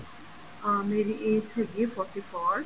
ਅਹ ਮੇਰੀ age ਹੈਗੀ ਏ forty four